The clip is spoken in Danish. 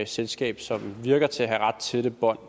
selskab som virker til at have ret tætte bånd